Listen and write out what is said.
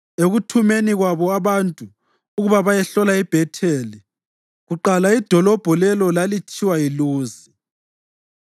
Ekuthumeni kwabo abantu ukuba bayehlola iBhetheli (kuqala idolobho lelo lalithiwa yiLuzi),